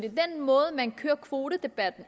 måde man kører kvotedebatten